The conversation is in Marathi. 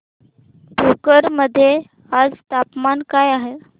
भोकर मध्ये आज तापमान काय आहे